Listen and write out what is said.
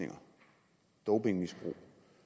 at dopingmisbrug